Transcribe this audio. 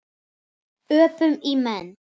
Öpum í menn.